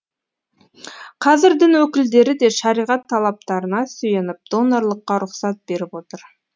қазір дін өкілдері де шариғат талаптарына сүйеніп донорлыққа рұқсат беріп отыр